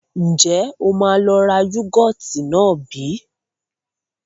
Ǹjẹ́ o máa lọ ra yúgọ́ọ́tì náà bí?